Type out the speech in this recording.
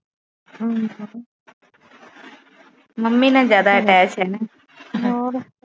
ਹਮ mummy ਨਾਲ ਜਿਆਦਾ attach ਆ ਨਾ